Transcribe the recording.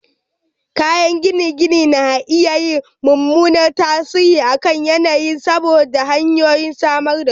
Kayan gine-gine na iya yin mummunan tasiri a kan yanayin saboda hanyoyin samar da su